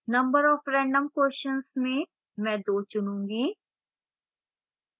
number of random questions में मैं 2 चुनूँगी